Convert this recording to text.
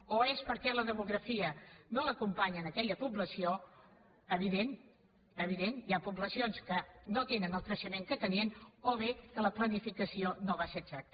o bé és perquè la demografia no l’acompanya a aquella població evident evident hi ha poblacions que no tenen el creixement que tenien o bé és que la planificació no va ser exacta